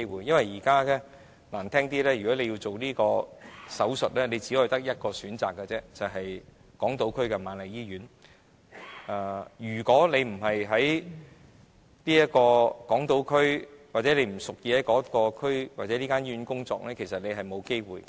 因為如果現在要進行這方面的手術，只有一個選擇，就是在港島區的瑪麗醫院進行；如果不是在港島區或該醫院工作的人，其實是沒有機會進行有關手術的。